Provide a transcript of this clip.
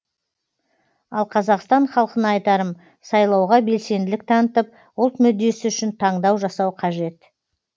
ал қазақстан халқына айтарым сайлауға белсенділік танытып ұлт мүддесі үшін таңдау жасау қажет